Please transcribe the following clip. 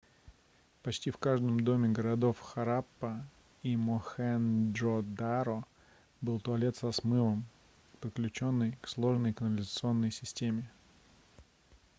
почти в каждом доме городов хараппа и мохенджо-даро был туалет со смывом подключённый к сложной канализационной системе